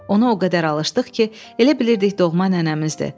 Onu o qədər alışdıq ki, elə bilirdik doğma nənəmizdir.